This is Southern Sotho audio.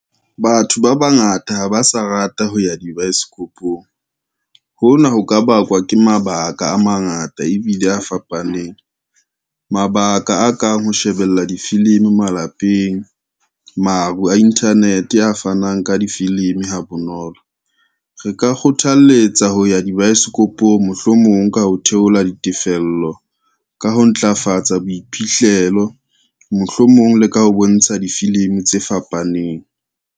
Batho ba bangata ha ba sa rata ho ya dibaesekopong. Hona ho ka bakwa ke mabaka a mangata ebile a fapaneng, mabaka a kang ho shebella difilimi malapeng, maru a internet a fanang ka difilimi ha bonolo. Re ka kgothaletsa ho ya dibaesekopong, mohlomong ka ho theola ditefello ka ho ntlafatsa boiphihlelo, mohlomong le ka ho bontsha difilimi tse fapaneng.